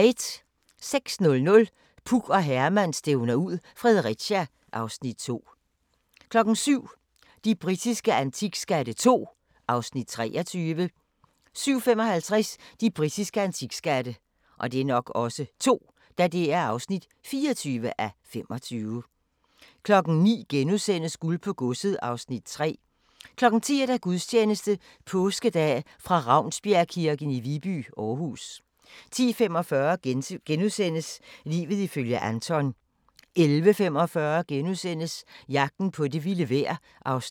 06:00: Puk og Herman stævner ud - Fredericia (Afs. 2) 07:00: De britiske antikskatte II (23:25) 07:55: De britiske antikskatte (24:25) 09:00: Guld på godset (Afs. 3)* 10:00: Gudstjeneste Påskedag fra Ravnsbjergkirken i Viby, Aarhus. 10:45: Livet ifølge Anton * 11:45: Jagten på det vilde vejr (Afs. 3)*